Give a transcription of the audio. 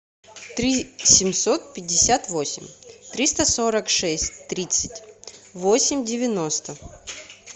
три семьсот пятьдесят восемь триста сорок шесть тридцать восемь девяносто